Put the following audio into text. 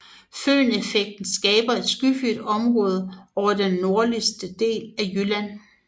Føneffekten skaber et skyfrit område over den nordligste del af jylland